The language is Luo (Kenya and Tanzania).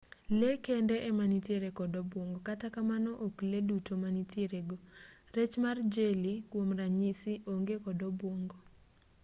lee kende ema nitiere kod obuongo kata kamano ok lee duto ma nitiere go; rech mar jeli kwom ranyisi onge kod obuongo